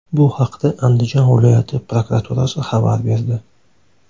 Bu haqda Andijon viloyati prokuraturasi xabar berdi .